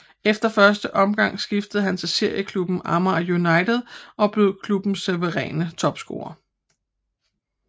Efter første omgang skiftede han til serieklubben Amager United og blev klubbens suveræne topscorer